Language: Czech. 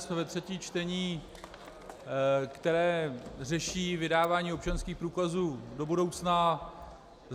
Jsme ve třetím čtení, které řeší vydávání občanských průkazů do budoucna.